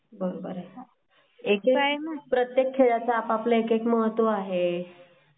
हो तेच तर आहे ना प्रत्येक खेळा चा आपला आपला महत्व आहे.